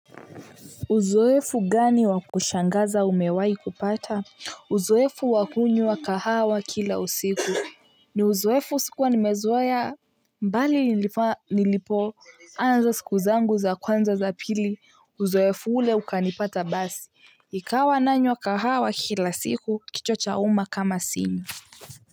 Uzoefu gani wa kushangaza umewahi kupata? Uzoefu wa kunywa kahawa kila usiku. Ni uzoefu sikuwa nimezoea bali nilipoanza siku zangu za kwanza za pili. Uzoefu ule ukanipata basi. Ikawa nanywa kahawa kila siku kichwa chauma kama sinywi.